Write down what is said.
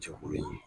Jɛkulu in ye